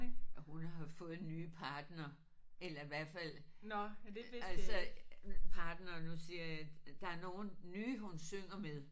Og hun har jo fået en ny partner eller hvert fald altså partner nu siger jeg der er nogle nye hun synger med